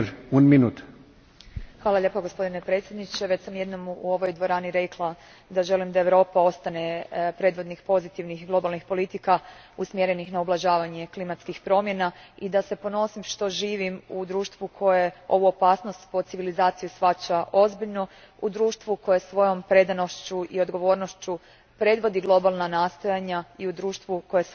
Gospodine predsjedniče, već sam jednom u ovoj dvorani rekla da želim da Europa ostane predvodnik pozitivnih globalnih politika usmjerenih na ublažavanje klimatskih promjena i da se ponosim što živim u društvu koje ovu opasnost po civilizaciju shvaća ozbiljno, u društvu koje svojom predanošću i odgovornošću predvodi globalna nastojanja i u društvu koje svoja obećanja ispunjava.